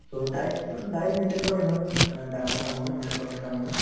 so, diet তো diet maintain কৰাতো ইমান অ ডাঙৰ কাম নহয় মানে কঠিন কাম নহয়